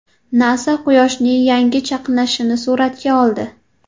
NASA Quyoshning yangi chaqnashini suratga oldi.